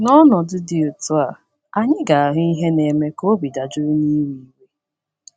N’ọnọdụ dị otu a, anyị ga - ahụ ihe na - eme ka obi dajuru na iwe iwe.